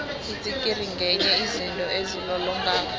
itsikiri ngenye yezinto ezilolongako